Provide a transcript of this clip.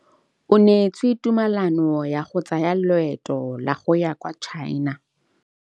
O neetswe tumalanô ya go tsaya loetô la go ya kwa China.